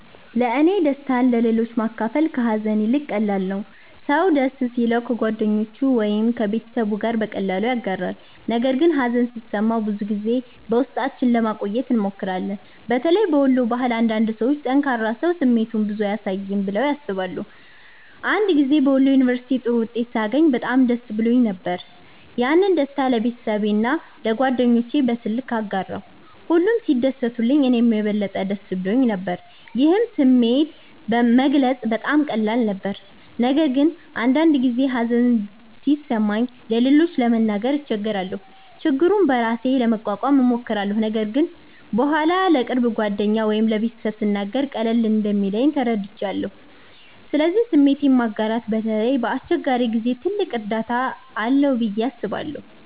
1ለእኔ ደስታን ለሌሎች ማካፈል ከሀዘን ይልቅ ቀላል ነው። ሰው ደስ ሲለው ከጓደኞቹ ወይም ከቤተሰቡ ጋር በቀላሉ ያጋራል፣ ነገር ግን ሀዘን ሲሰማን ብዙ ጊዜ በውስጣችን ለማቆየት እንሞክራለን። በተለይ በወሎ ባህል አንዳንድ ሰዎች “ጠንካራ ሰው ስሜቱን ብዙ አያሳይም” ብለው ያስባሉ። አንድ ጊዜ በወሎ ዩንቨርስቲ ጥሩ ውጤት ሳገኝ በጣም ደስ ብሎኝ ነበር። ያንን ደስታ ለቤተሰቤና ለጓደኞቼ በስልክ አጋራሁ፣ ሁሉም ሲደሰቱልኝ እኔም የበለጠ ደስ ብሎኝ ነበር። ይህን ስሜት መግለጽ በጣም ቀላል ነበር። ነገር ግን አንዳንድ ጊዜ ሀዘን ሲሰማኝ ለሌሎች ለመናገር እቸገራለሁ። ችግሩን በራሴ ለመቋቋም እሞክራለሁ፣ ነገር ግን በኋላ ለቅርብ ጓደኛ ወይም ለቤተሰብ ስናገር ቀለል እንደሚለኝ ተረድቻለሁ። ስለዚህ ስሜትን ማጋራት በተለይ በአስቸጋሪ ጊዜ ትልቅ እርዳታ አለው ብዬ አስባለሁ።